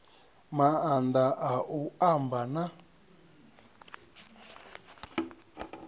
maanḓa a u amba na